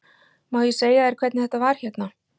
Má ég segja þér hvernig þetta var hérna?